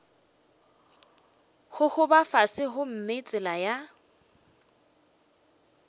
gogoba fase gomme tsela ya